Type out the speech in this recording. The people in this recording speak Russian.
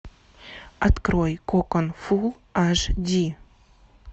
открой кокон фул аш ди